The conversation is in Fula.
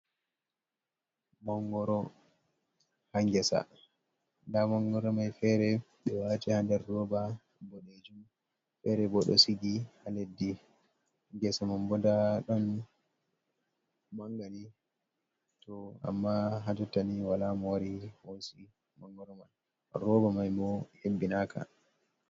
Mangoro, ha gesa, nda mangoro mai fere ɓe wati ha nder roba, boɗejuum fere bo do sigi ha leddi, gesa man bo nda ɗon mangani, to amma hajottani wala mo wari hosi mangoro mai roba mai mo hebbinaka.